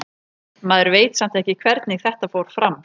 Maður veit samt ekki hvernig þetta fór fram.